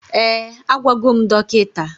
Ee, agwagom dọkịta